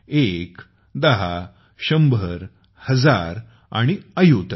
एक दहा शंभरहजार आणि अयुत